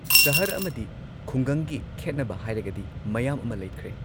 ꯁꯍꯔ ꯑꯃꯗꯤ ꯈꯨꯡꯒꯪꯒꯤ ꯈꯦꯠꯅꯕ ꯍꯥꯏꯔꯒꯗꯤ ꯃꯌꯥꯝ ꯑꯃ ꯂꯩꯈ꯭ꯔꯦ꯫